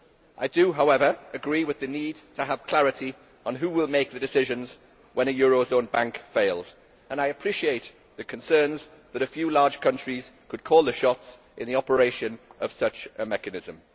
I do, however, agree with the need for clarity on who will make the decisions when a eurozone bank fails, and I appreciate the concern that a few large countries could call the shots in the operation of such a mechanism.